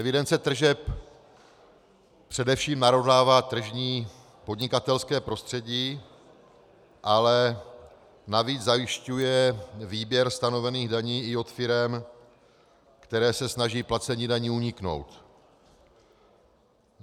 Evidence tržeb především narovnává tržní podnikatelské prostředí, ale navíc zajišťuje výběr stanovených daní i u firem, které se snaží placení daní uniknout.